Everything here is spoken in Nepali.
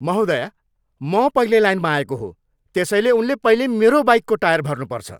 महोदया, म पहिले लाइनमा आएको हो, त्यसैले उनले पहिले मेरो बाइकको टायर भर्नुपर्छ।